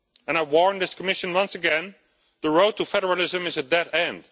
I warn this Commission, once again, that the road to federalism is a dead end.